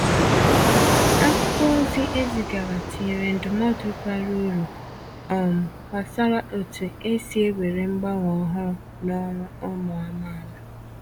Akwụkwọ ozi e zigaara tinyèrè ndụmọdụ bara uru um gbasàra otu esi ewere mgbanwe ọhụrụ n’ọrụ ụmụ amaala.